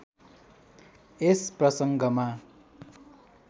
यस प्रसङ्गमा